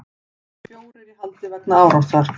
Fjórir í haldi vegna árásar